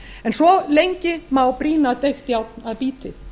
en svo lengi má brýna deigt járn að bíti